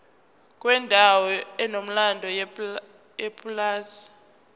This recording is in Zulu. kwendawo enomlando yepulazi